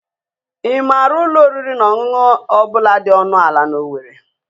Ị maara ụlọ oriri na ọṅụṅụ ọ bụla dị ọnụ ala na owerri?